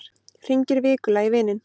Hringir vikulega í vininn